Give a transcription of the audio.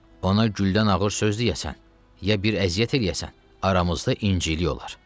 Ona güldən ağır söz deyəsən, ya bir əziyyət eləyəsən, aramızda incilik olar.